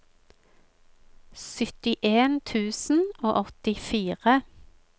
syttien tusen og åttifire